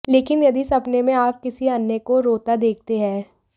लेकिन यदि सपने में आप किसी अन्य को रोता देखते हैं